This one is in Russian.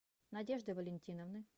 надежды валентиновны